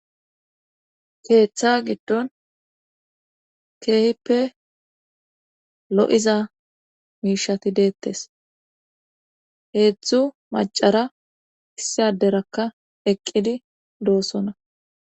keeththa giddon keehippe lo7iza miishati deettes heedzdzu macara issi aderakka eqqidi doosona